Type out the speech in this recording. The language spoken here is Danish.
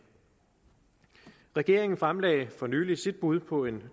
regeringen fremlagde for nylig sit bud på en